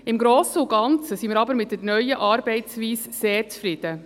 Im Grossen und Ganzen sind wir aber mit der neuen Arbeitsweise sehr zufrieden.